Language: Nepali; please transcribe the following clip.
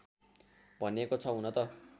भनिएको छ हुन त